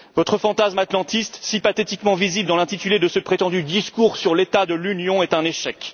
effets. Votre fantasme atlantiste, si pathétiquement visible dans l'intitulé de ce prétendu discours sur l'état de l'Union, est un